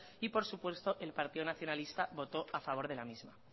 y por supuesto el partido nacionalista votó a favor de la misma